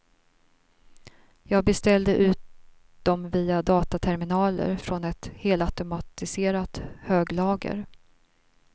Jag beställde ut dem via dataterminaler från ett helautomatiserat höglager.